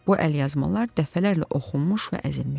Bu əlyazmalar dəfələrlə oxunmuş və əzilmişdi.